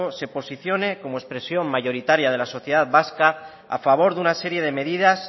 se posicione como expresión mayoritaria de la sociedad vasca a favor de una serie medidas